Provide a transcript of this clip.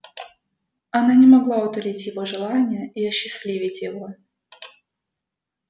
не она могла утолить его желания и осчастливить его